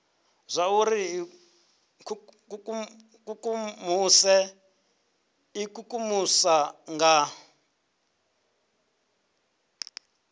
zwauri ri ikukumuse ikukumusa nga